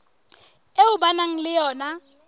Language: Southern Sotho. eo ba nang le yona